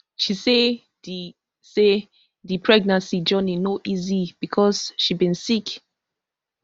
she say di say di pregnancy journey no easy becos she bin sick